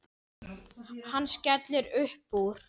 Hann skellir upp úr.